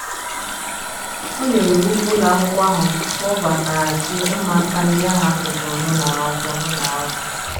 O nyere iwu ka ụlọakwụkwọ ahụ kpọbataghachi ụmụaka ndị ahụ a chụpụrụ n’ụlọ akwụkwọ n’ụlọ akwụkwọ.